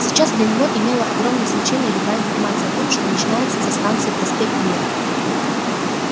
сейчас для него имела огромное значение любая информация о том что начинается за станцией проспект мира